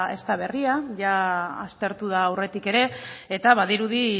ez da berria jada aztertu da aurretik ere eta badirudi